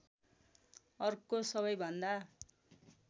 अर्को सबैभन्दा